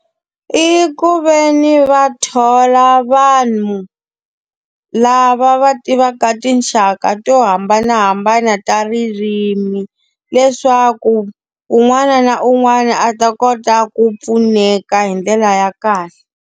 I ku ve ni va thola vanhu lava va tivaka tinxaka to hambanahambana ta ririmi, leswaku un'wana na un'wana a ta kota ku pfuneka hi ndlela ya kahle.